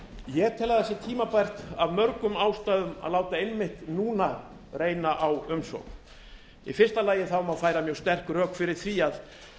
ég tel að það sé tímabært af mörgum ástæðum að láta einmitt núna reyna á umsókn í fyrsta lagi má færa mjög sterk rök fyrir því að